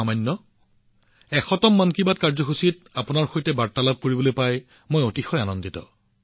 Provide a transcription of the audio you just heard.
মই শততম মন কী বাত কাৰ্যসূচীত আপোনাৰ সৈতে বাৰ্তালাপ কৰি সুখী হৈছো